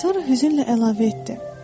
Sonra hüznlə əlavə etdi: